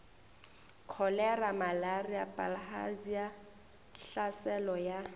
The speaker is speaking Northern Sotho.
kholera malaria bilharzia tlhaselo ya